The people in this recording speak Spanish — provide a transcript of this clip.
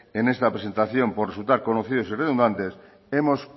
en esta presentación por resultar conocidos y redundantes hemos